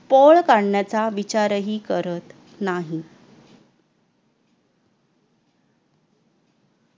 पळ काढण्याचा विचार ही करत नाही